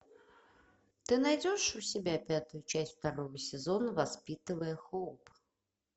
ты найдешь у себя пятую часть второго сезона воспитывая хоуп